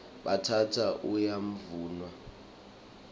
bhatata uyavunwa